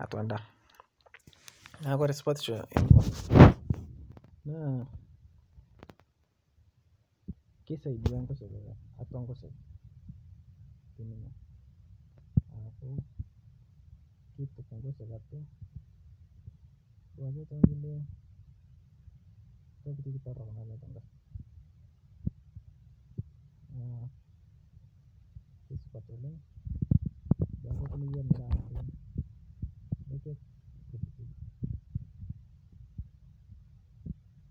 atua ndaa Kore supatisho enye naa keisadia nkosheke naaku keituk atua nkosheke naaku keituk atua nkosheke tonkule tokin torok naati atua nkosheke naaku keisupati oleng naaku keisidai.